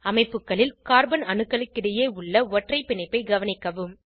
அமைப்புகளில் கார்பன் அணுக்களுக்கிடையே உள்ள ஒற்றை பிணைப்பை கவனிக்கவும்